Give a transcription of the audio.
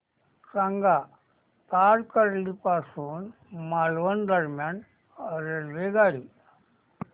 सांगा तारकर्ली पासून मालवण दरम्यान रेल्वेगाडी